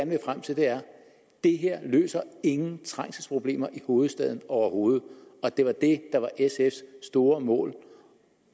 vil frem til er det her løser ingen trængselsproblemer i hovedstaden overhovedet og det var det der var sfs store mål